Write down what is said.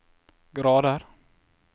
grader